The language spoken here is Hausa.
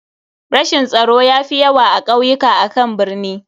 Rashin tsaro ya fi yawa a kauyuka akan birni.